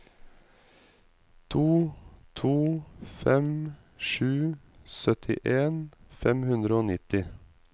to to fem sju syttien fem hundre og nitti